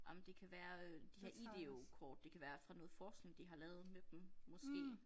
Ej men det kan være øh de her IDEO kort det kan være fra noget forskning de har lavet med dem måske